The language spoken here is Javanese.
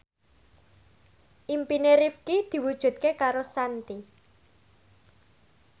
impine Rifqi diwujudke karo Shanti